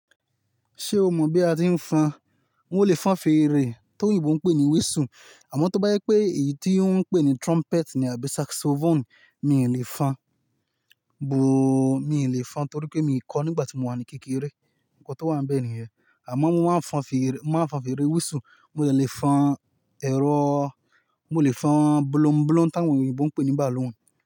Ṣé o mọ̀ bí a tí ń fọn? N ó lè fọn fèrè tó òyìnbó ń pè ní whistle, àmọ́ tó bá yẹ pé èyí tí wọ́n ń pè ní trumpet àbí saxophone, mi ò lè fọn, bo-- mi ò lè fọn torí pé mi kọ nígbà tí mo wà ní kékeré. Ǹkan tó wà níbẹ̀ nìyẹn. Àmọ́ mo máa ń fọn fèrè, mo máa ń fọn fèrè whistle, mo lè fọn ẹ̀rọọ, mo lè fọn bolombolom tá ń wọ̀nì òyìnbó ń pè ní balloon.